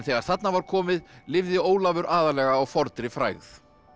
þarna var komið lifði Ólafur aðallega á fornri frægð